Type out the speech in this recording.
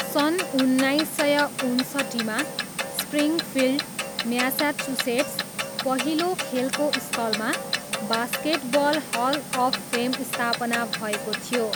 सन् उन्नाइस सय उन्सट्ठीमा, स्प्रिङफिल्ड, म्यासाचुसेट्स, पहिलो खेलको स्थलमा बास्केटबल हल अफ फेम स्थापना भएको थियो।